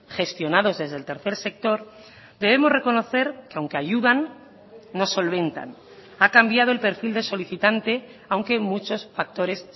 gestionados desde el tercer sector debemos reconocer que aunque ayudan no solventan ha cambiado el perfil de solicitante aunque muchos factores